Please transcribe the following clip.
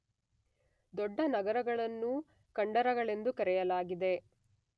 ದೊಡ್ಡ ನರಗಳನ್ನೂ ಕಂಡರಗಳೆಂದು ಕರೆಯಲಾಗಿದೆ.